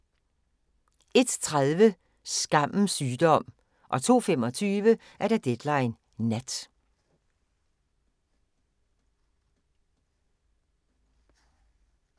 01:30: Skammens sygdom 02:25: Deadline Nat